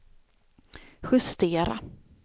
justera